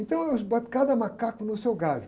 Então, eu cada macaco no seu galho.